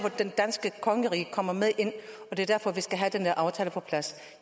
at det danske kongerige kommer ind og det er derfor at vi skal have den her aftale på plads